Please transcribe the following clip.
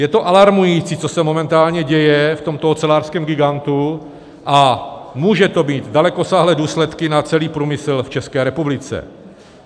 Je to alarmující, co se momentálně děje v tomto ocelářském gigantu, a může to mít dalekosáhlé důsledky na celý průmysl v České republice.